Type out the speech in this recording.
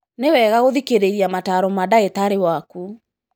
Nĩwega gũthikĩrĩria mataro ma dagĩtarĩwaku.